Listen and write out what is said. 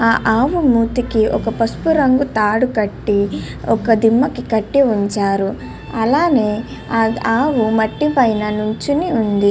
ఆ అవును మూతికి ఒక పసుపు రంగు తాడు కట్టి ఒక దిమ్మకి కట్టి ఉంచారు. అలానే ఆవు మట్టి పైన నుంచి ఉంది.